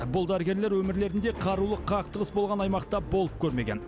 бұл дәрігерлер өмірлерінде қарулы қақтығыс болған аймақта болып көрмеген